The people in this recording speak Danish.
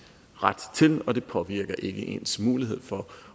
ret til og det påvirker ikke ens mulighed for